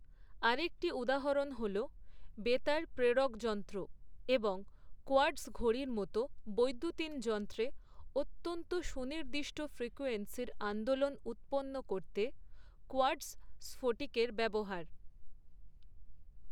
আরেকটি উদাহরণ হল বেতার প্রেরকযন্ত্র এবং কোয়ার্টজ ঘড়ির মতো বৈদ্যুতিন যন্ত্রে অত্যন্ত সুনির্দিষ্ট ফ্রিকোয়েন্সির আন্দোলন উৎপন্ন করতে কোয়ার্টজ স্ফটিকের ব্যবহার।